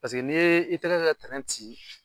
n' ye i tɛgɛ kɛ ci